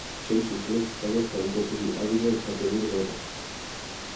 Chelsea, Leicester ak Westham kosubi akichek kotioriendenoto.